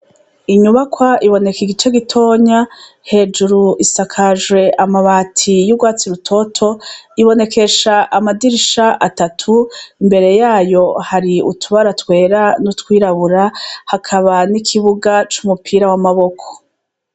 Inyubakwa ibonek’igice gitonya, hejuru isakajwe amabati y’ugwatsi rutoto, ibonekesha amadirisha atatu, imbere yayo hari utubara twera n’utwirabura, hakaba n’ikibuga c’umupira w’amaboko.